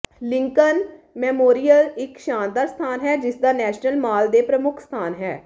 Lincoln Memorial ਇੱਕ ਸ਼ਾਨਦਾਰ ਸਥਾਨ ਹੈ ਜਿਸਦਾ ਨੈਸ਼ਨਲ ਮਾਲ ਦੇ ਪ੍ਰਮੁੱਖ ਸਥਾਨ ਹੈ